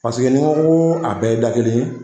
Paseke ni n ko ko a bɛɛ ye da kelen ye